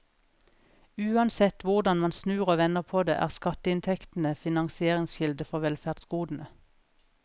Uansett hvordan man snur og vender på det, er skatteinntektene finansieringskilde for velferdsgodene.